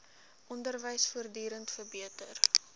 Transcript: onderwys voortdurend verbeter